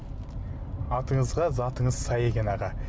атыңызға затыңыз сай екен аға